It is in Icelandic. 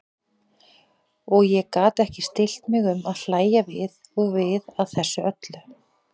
Og ég gat ekki stillt mig um að hlægja við og við að þessu öllu.